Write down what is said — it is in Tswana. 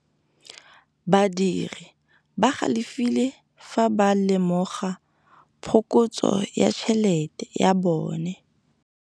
Badiri ba galefile fa ba lemoga phokotsô ya tšhelête ya bone.